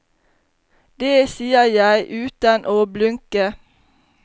Det sier jeg uten å blunke.